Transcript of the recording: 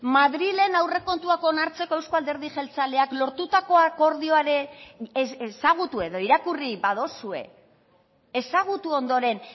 madrilen aurrekontuak onartzeko euzko alderdi jeltzaleak lortutako akordioa ere ezagutu edo irakurri baduzue ezagutu ondoren